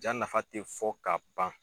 Ja nafa te fɔ ka ban